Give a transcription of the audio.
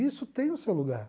Isso tem o seu lugar.